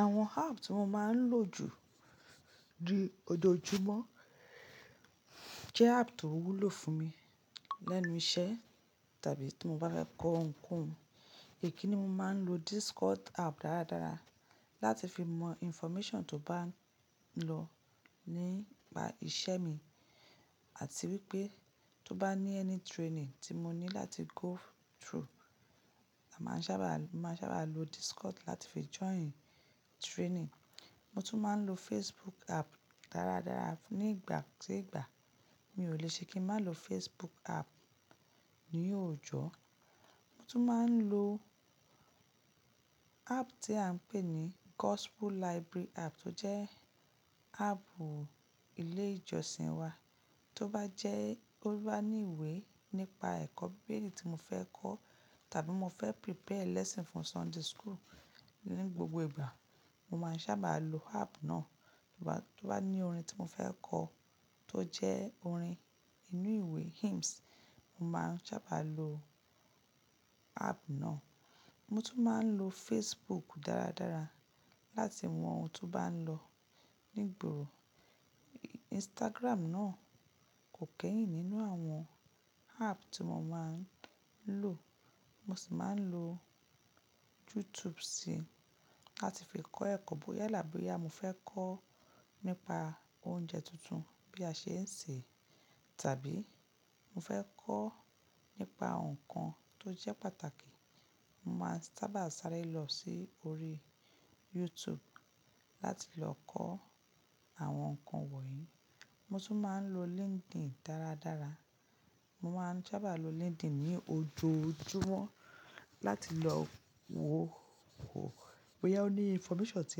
Àwọn app tí mo máa ń lò jù jù ojoojúmọ́ jẹ́ app tó wúlò fún mi lẹ́nu iṣẹ́ tàbí tí mo bá fẹ́ kọ ohunkóhun. Ikini mo máa ń lo Discord app dáradára láti fi mọ information tó bá ń lọ nípa iṣẹ́ mi. Àti wípé tó bá ní ẹni training tí mo ní láti go through, a máa sábà, máa sábà lo Discord láti fi join training. Mo tún máa ń lo Facebook app dáradára. Ní ìgbà ki ìgbà mi ò lè ṣe kí n má lo Facebook app ní òòjọ́. Mo tún máa ń lo app tí à ń pè ní Gospel Library app tó jẹ́ app ilé ìjọsìn wa. Tó bá jẹ́ ó bá ní ìwé nípa ẹ̀kọ́ Bíbélì tí mo fẹ́ kọ tàbí mo fẹ́ prepare lesson fún Sunday school ní gbogbo ìgbà, mo máa ń sábà lo app náà. Tó bá, tó bá ní orin tí mo fẹ́ kọ tó jẹ́ orin inú ìwé hymns, mo máa ń sábà lo app náà. Mo tún máa ń lo Facebook dáradára láti mọ ohun tó bá ń lọ nígbòro. Instagram náà kò kẹ́yìn nínú àwọn app tí mo máa ń lò. Mo sì máa ń lo YouTube sì láti fi kọ́ ẹ̀kọ́ bóyá yala boya mo fẹ́ kọ́ nípa oúnjẹ tuntun bí a ṣe ń sè, tàbí mo fẹ́ kọ́ nípa nǹkan tó jẹ́ pàtàkì, mo máa sábà sáré lọ sí orí YouTube láti lọ kọ́ àwọn nǹkan wọ̀nyí. Mo tún máa ń lo LinkedIn dáradára. Mo máa ń sábà lo LinkedIn ní ojoojúmọ́ láti lọ wo, wo bóyá ó ní information tí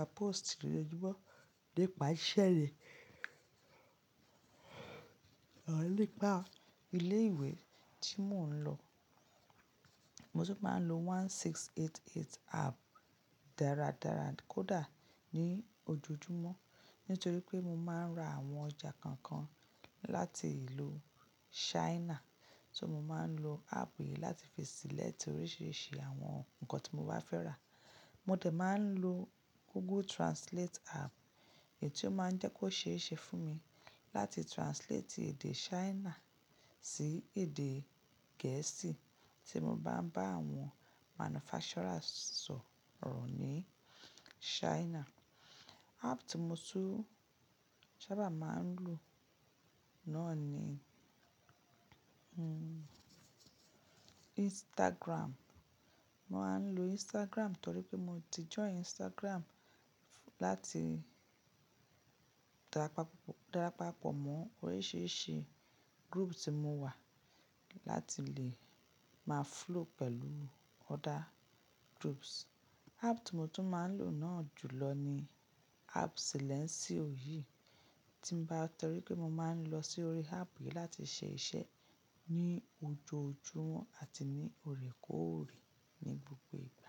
a post lójoojúmọ́ nípa iṣẹ́ ni. Or nípa ilé ìwé tí mò ń lọ. Mo tún máa ń lo 1688 app dáradára kódà ní ojoojúmọ́ nítorí pé mo máa ń ra àwọn ọjà kọ̀ọ̀kan láti ìlú China. So mo máa ń lo app yìí láti fi select oríṣiríṣi àwọn nǹkan tí mo bá fẹ́ rà. Mo dè máa ń lo Google Translate app èyí tí ó máa ń jẹ́ kó ṣe é ṣe fún mi láti translate èdè China sí èdè Gẹ̀ẹ́sì tí mo bá ń bá àwọn manufacturers sọ̀rọ̀ ní China. App tí mo tún sábà máa ń lò náà ni Instagram. Mo máa ń lo Instagram torí pé mo ti join Instagram láti darapapo darapapọ̀ mọ́ oríṣiríṣi group tí mo wà láti lè má flow pẹ̀lú other groups. App tí mo tún máa ń lò náà jùlọ ni app silẹ́ńsìo òyì tí bà-- torí pé mo máa ń lọ sí orí app yìí láti ṣe iṣẹ́ ní ojoojúmọ́ àti ní ọ̀rẹ́ k'órẹ́ ní gbogbo ìgbà.